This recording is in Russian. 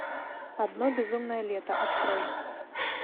одно безумное лето открой